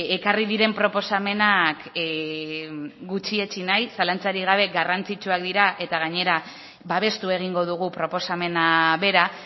ekarri diren proposamenak gutxietsi nahi zalantzarik gabe garrantzitsuak dira eta gainera babestu egingo dugu proposamena bera